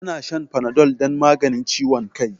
Ya na shan Panadol don maganin ciwon kai.